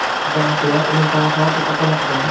Ba’zilar uni daho deb atamoqda.